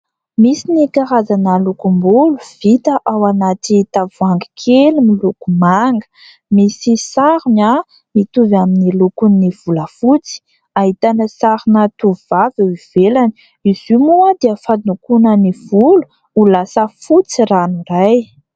Misy ny karazana lokom-bolo vita ao anaty tavoahangy kely miloko manga. Misy sarony mitovy amin'ny lokon'ny volafotsy ahitana sarina tovovavy eo ivelany, izy io moa dia fandokoana ny volo ho lasa fotsy ranoray.